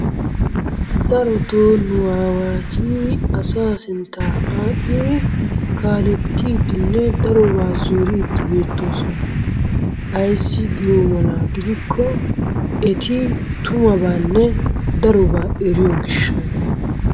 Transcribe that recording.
Darotoo nu awaati asa sinttaa adhdhidi kaalettidinne daroobaa zoriidi beettosona. Ayssi giyo mala gidikko eti tumabaanne darobaa eriyo gishshsha.